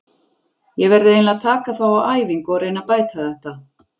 Ég verð eiginlega að taka þá á æfingu og reyna að bæta þetta.